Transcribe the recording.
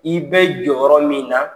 I bɛ jɔyɔrɔ min na.